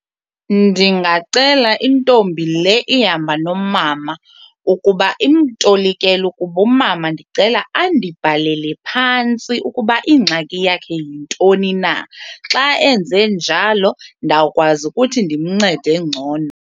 Ndingacela intombi le ihamba nomama ukuba imtolikele ukuba umama ndicela andibhalele phantsi ukuba ingxaki yakhe yintoni na. Xa enze njalo ndawukwazi ukuthi ndimncede ngcono.